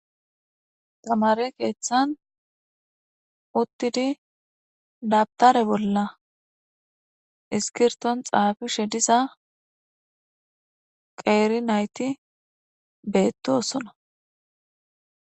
Tamare keeththan uttidi daftare bolla isskirtton xafishshe diza qerei nayti bettossona